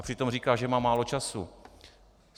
A přitom říká, že má málo času.